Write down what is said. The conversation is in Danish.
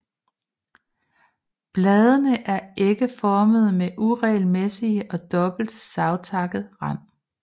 Bladene er ægformede med uregelmæssig og dobbelt savtakket rand